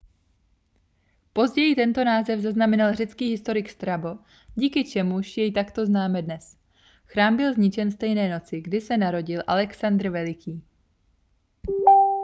později tento název zaznamenal řecký historik strabo díky čemuž jej takto známe dnes chrám byl zničen stejné noci kdy se narodil alexandr veliký